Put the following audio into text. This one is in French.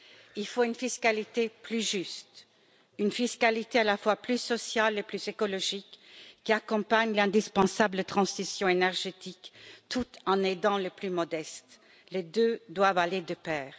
Il faut une fiscalité plus juste, une fiscalité à la fois plus sociale et plus écologique, qui accompagne l'indispensable transition énergétique tout en aidant les plus modestes, car les deux doivent aller de pair.